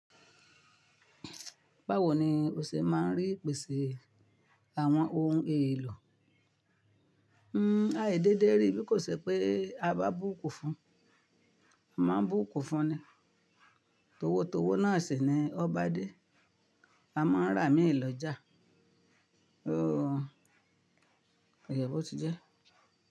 Báwo ni o ṣe máa ń rí ìpèsè àwọn ohun èlò? Aíì dédé rí bí kò ṣe pé a bá bùkún fún. A máa bùkú fún ni. Tówó tówó náà sì ni o ba dé. A máa ń rà mí lọ́jà. Óòo. Ọ̀ yẹ̀bò ti jẹ́